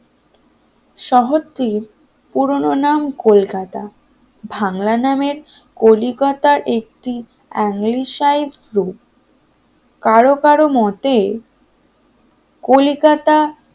শহরটির পুরানো নাম কলকাতা বাংলা নামের কলিকাতা একটি কারো কারো মতে কলিকাতা